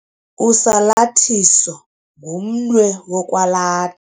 Usalathiso ngumnwe wokwala.